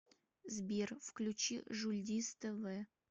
сбер включи жульдиз тэ вэ